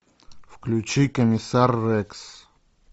включи комиссар рекс